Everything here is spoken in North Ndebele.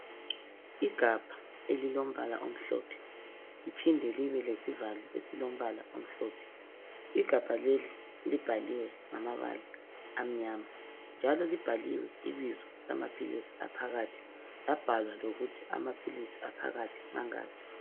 Igabha elilombala omhlophe liphinde libe lesivalo esilombala omhlophe .Igabha leli libhaliwe ngamabala amnyama, njalo libhaliwe ibizo lamaphilisi aphakathi labhalwa lokuthi amaphilisi aphakathi mangaki.